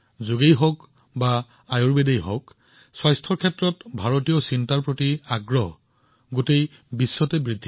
আজি সমগ্ৰ বিশ্বতে স্বাস্থ্যৰ বিষয়ে ভাৰতীয় চিন্তাধাৰা বৃদ্ধি পাইছে সেয়া যোগেই হওক বা আয়ুৰ্বেদেই হওক